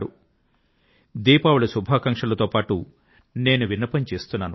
కాబట్టి దీపావళి శుభాకాంక్షలతో పాటు నేను విన్నపం చేస్తున్నాను